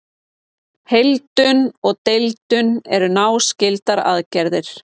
Heildun og deildun eru náskyldar aðgerðir.